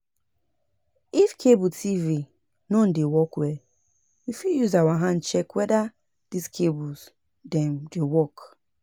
If cable TV non dey work well, we fit use our hand check weda di cables dem dey work